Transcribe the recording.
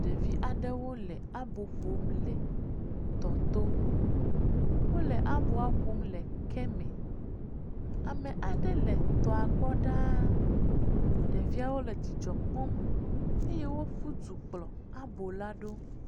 Ɖevi aɖewo le abo ƒom le tɔto. Wole aboa ƒom le keme. Ame aɖe le tɔa gbɔ ɖaa. Ɖeviawo le dzidzɔ kpɔm eye woƒu du kplɔ abola ɖo.